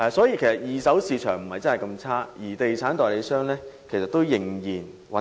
因此，二手市場並不是那麼差，地產代理商依然可以維生。